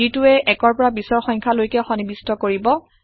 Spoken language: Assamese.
যিটোয়ে ১ৰ ২০ৰ পৰা সংখ্যা লৈকে সন্নিবিষ্ট কৰিব